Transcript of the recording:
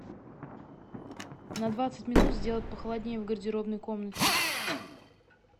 на двадцать минут сделать похолоднее в гардеробной комнате